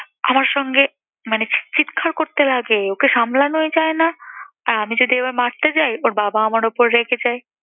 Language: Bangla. আমার সঙ্গে মানে চিৎ~ চিৎকার করতে থাকে! ওকে সামলানোই যায় না। আর আমি যদি এবার মারতে যাই, ওর বাবা আমার উপর রেগে যায়।